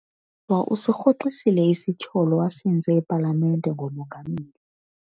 Usirhoxisile isityholo asenze epalamente ngomongameli.